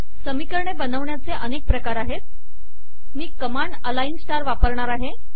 समीकरणे बनवण्याचे अनेक प्रकार आहेत मी कमांड अलाइन स्टार वापरणार आहे